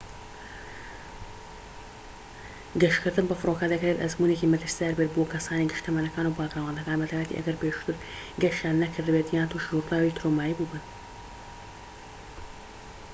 گەشتکردن بە فڕۆکە دەکرێت ئەزموونێکی مەترسیدار بێت بۆ کەسانی گشت تەمەنەكان و باکگراوندەکان بە تایبەتی ئەگەر پێشووتر گەشتیان نەکرد بێت یان تووشی ڕووداوی ترۆمایی بوو بن